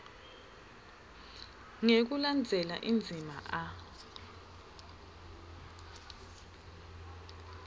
ngekulandzela indzima a